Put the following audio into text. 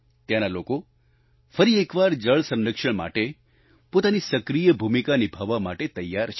ત્યાંના લોકો ફરી એકવાર જળ સંરક્ષણ માટે પોતાની સક્રિય ભૂમિકા નિભાવવા માટે તૈયાર છે